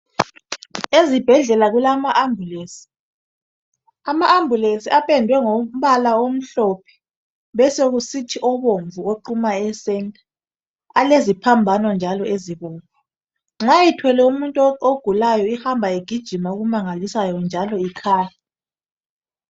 Ezibhedlela kulama ambulance .Ama ambulance apendwe ngombala omhlophe besokusithi obomvu oquma ecentre . Aleziphambano njalo ezibomvu. Nxa ethwele umuntu ogulayo ahamba egijima okumangalisayo njalo ikhala.